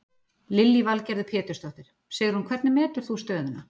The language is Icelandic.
Lillý Valgerður Pétursdóttir: Sigrún hvernig metur þú stöðuna?